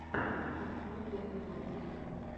открой первые ролики